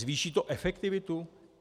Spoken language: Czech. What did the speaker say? Zvýší to efektivitu?